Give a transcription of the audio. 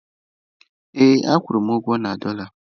Ee a kwụrụ m ụgwọ na dọla.